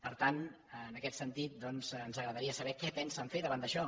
per tant en aquest sentit doncs ens agradaria saber què pensen fer davant d’això